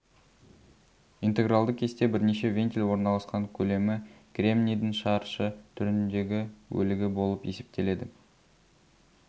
интегралды кесте бірнеше вентиль орналасқан көлемі кремнийдің шаршы түріндегі бөлігі болып есептеледі